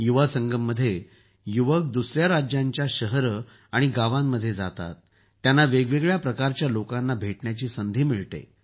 युवासंगम मध्ये युवक दुसऱ्या राज्यांच्या शहरे आणि गावांमध्ये जातात त्यांना वेगवेगळ्या प्रकारच्या लोकांना भेटण्याची संधी मिळते